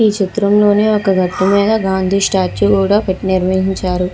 ఈ చిత్రంలోని ఒక గట్టుమీద గాంధీ స్టాచ్యు కూడా పెట్టు నిర్వహించారు.